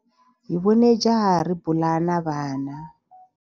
Hi vone jaha ri bula na vana.